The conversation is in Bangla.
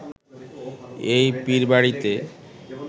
এই পীরবাড়িতে